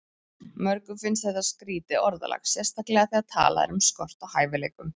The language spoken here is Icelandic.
Mörgum finnst þetta skrýtið orðalag, sérstaklega þegar talað er um skort á hæfileikum.